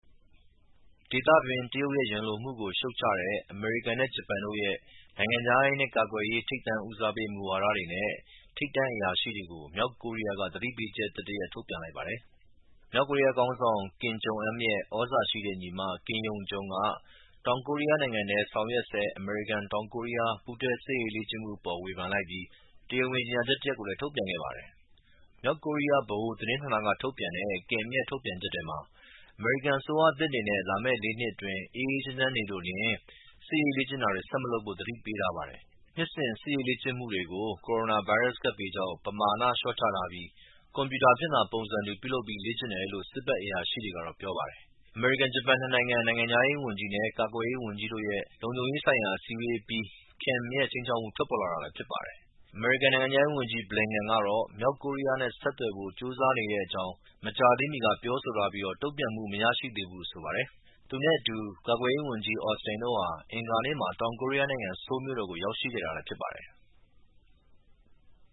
ဒေသတွင်း တရုတ်ရဲ့ ရန်လိုမှုကို ရှုတ်ချတဲ့ အမေရိကန်နဲ့ဂျပန်တို့ရဲ့ နိုင်ငံခြားရေးနဲ့ ကာကွယ်ရေး ထိပ်တန်းဦးစားပေးမူဝါဒတွေနဲ့ ထိပ်တန်းအရာရှိတွေကို မြောက်ကိုရီးယားက သတိပေးချက် အသစ်တရပ် ထုတ်ပြန်လိုက်ပါတယ်။ မြောက်ကိုရီးယားခေါင်းဆောင် Kim Jong-un ရဲ့ သြဇာရှိတဲ့ ညီမ Kim Yo-jong က တောင်ကိုရီးယားနိုင်ငံထဲ ဆောင်ရွက်ဆဲ အမေရိကန်-တောင်ကိုရီးယား ပူးတွဲစစ်ရေးလေ့ကျင့်မှုအပေါ်ဝေဖန်လိုက်ပြီး တရားဝင်ကြေညာချက် တရပ်ကိုလည်း ထုတ်ပြန်ခဲ့ပါတယ်။ မြောက်ကိုရီးယား ဗဟိုသတင်းဌာနကထုတ်ပြန်တဲ့ Kim ရဲ့ ထုတ်ပြန်ချက်ထဲမှာ အမေရိကန်အစိုးရသစ်အနေနဲ့ လာမယ့်လေးနှစ်အတွင်း အေးအေးချမ်းချမ်းနေလိုလျှင် စစ်ရေးလေ့ကျင့်တာတွေ ဆက် မလုပ်ဖို့သတိပေးထား ပါတယ်။ နှစ်စဉ် စစ်ရေးလေ့ကျင့်မှုတွေကို ကိုရိုနာဗိုင်းရပ်စ်ကပ်ဘေးကြောင့် ပမာဏလျှော့ချထားပြီး ကွန်ပြူတာဖြင့်သာ ပုံစံတူပြုလုပ် လေ့ကျင့်တယ်လို့ စစ်ဘက်အရာရှိတွေက ပြောပါတယ်။ အမေရိကန်-ဂျပန် နစ်နိုင်ငံ နိုင်ငံခြားရေးဝန်ကြီး နဲ့ ကာကွယ်ရေး ဝန်ကြီးတွေရဲ့ လုံခြုံရေးဆိုင်ရာ အစည်းအဝေးအပြီး Kim ရဲ့ ခြိမ်းခြောက်မှု ထွက်ပေါ်လာတာလည်းဖြစ်ပါတယ်။ အမေရိကန်နိုင်ငံခြားရေးဝန်ကြီး Blinken ကတော့ မြောက်ကိုရီးယားနဲ့ ဆက်သွယ်ဖို့.့ကြိုးစားနေတဲ့အကြောင်း မကြာသေးမီက ပြောဆိုထားပြီး တုံ့ပြန်မှု မရရှိသေးဘူးလို့ဆိုပါတယ်။ သူနဲ့အတူ ကာကွယ်ရေးဝန်ကြီး Austin တို့ဟာ အင်္ဂါနေ့မှာ တောင်ကိုရီးယားနိုင်ငံ ဆိုးလ် မြို့တော်ကို ရောက်ရှိခဲ့တာလည်းဖြစ်ပါတယ်။